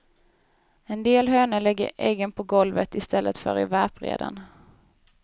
En del hönor lägger äggen på golvet i stället för i värpreden.